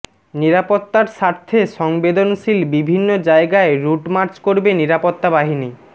নিরাপত্তার স্বার্থে সংবেদনশীল বিভিন্ন জায়গায় রুটমার্চ করবে নিরাপত্তা বাহিনী